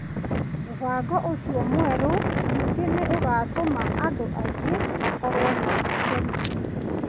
Mũbango ũcio mwerũ ningĩ nĩ ũgatũma andũ aingĩ makorũo na itemi ,